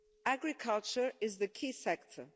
Agriculture is the key sector.